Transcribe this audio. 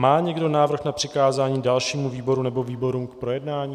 Má někdo návrh na přikázání dalšímu výboru nebo výborům k projednání?